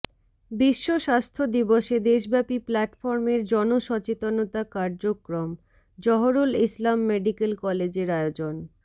বিশ্ব স্বাস্থ্য দিবসে দেশব্যাপী প্ল্যাটফর্মের জনসচেতনতা কার্যক্রমঃ জহুরুল ইসলাম মেডিকেল কলেজের আয়োজন